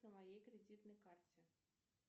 по моей кредитной карте